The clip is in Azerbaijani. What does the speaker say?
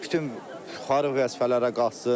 Bütün yuxarı vəzifələrə qalxsın.